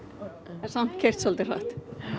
en samt keyrt hratt